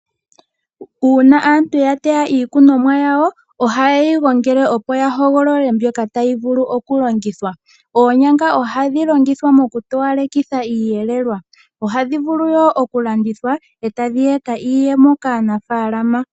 Uuna aantu yateya iikunomwa yawo ohaye yi gongele opo yahogolole mbyoka tayi vulu okulongithwa. Oonyanga ohadhi longithwa okutoyalekitha iiyelelwa ohadhi vulu woo okulandithwa ee tadhi eta iiyemo kaanafalama.